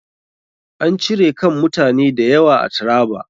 An cire kan mutane da yawa a Traba.